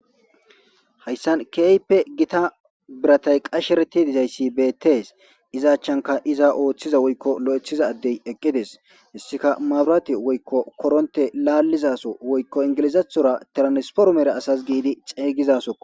hayssan keype gita biratay qashereti dizayssi beettees izaachanka iza ooththiza woykko lo7ethiza addey eqqides hissika mabrati woykko koronte laalizaso woykko ingilizathora tiransporomere asas giidi xeygizaso